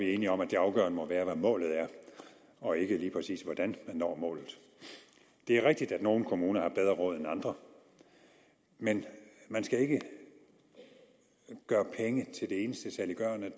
er enige om at det afgørende må være hvad målet er og ikke lige præcis hvordan man når målet det er rigtigt at nogle kommuner har bedre råd end andre men man skal ikke gøre penge til det eneste saliggørende